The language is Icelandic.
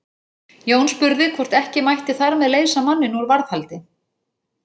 Jón spurði hvort ekki mætti þar með leysa manninn úr varðhaldi.